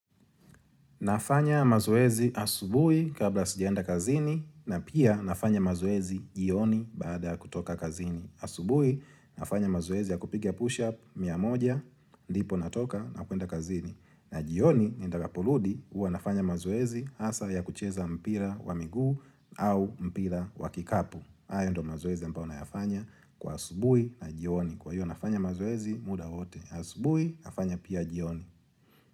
Nafanya mazoezi asubuhi kabla sijaenda kazini na pia nafanya mazoezi jioni baada ya kutoka kazini. Asubuhi, nafanya mazoezi ya kupiga push-up mia moja, ndipo natoka na kuenda kazini. Na jioni nitakaporudi huwa nafanya mazoezi hasa ya kucheza mpira wa miguu au mpira wa kikapu. Hayo ndo mazoezi ambayo nayafanya kwa asubuhi na jioni. Kwa hiyo nafanya mazoezi muda wote. Asubui, nafanya pia jioni.